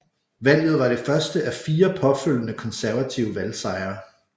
Valget var det første af fire påfølgende konservative valgsejre